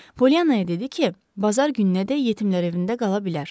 Poliyanaya dedi ki, bazar gününədək Yetimlər Evində qala bilər.